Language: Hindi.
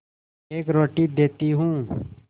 एक रोटी देती हूँ